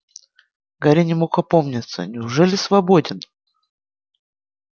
гарри не мог опомниться неужели свободен